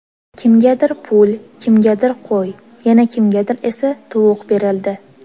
Kimgadir pul, kimgadir qo‘y, yana kimgadir esa tovuq berildi.